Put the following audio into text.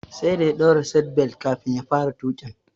Sai da ya daura "seat belt" kafin ya fara tuƙin